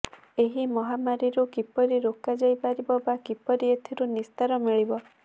ଏହି ମହାମାରୀରୁ କିପରି ରୋକାଯାଇ ପାରିବ ବା କିପରି ଏଥିରୁ ନିସ୍ତାର ମିଳିବ